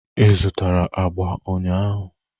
Ị zụtara agba ụnyahụ?